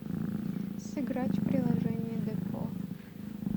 сыграть в приложение депо